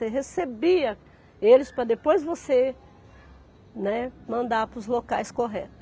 Você recebia eles para depois você, né, mandar para os locais corretos.